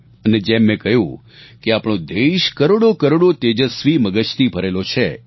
અને જેમ મેં કહ્યું કે આપણો દેશ કરોડોકરોડો તેજસ્વી મગજથી ભરેલો છે